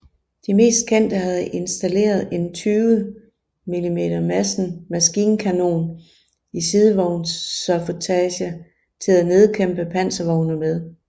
De mest kendte havde installeret en 20 mm Madsen maskinkanon i sidevognsaffutage til at nedkæmpe panservogne med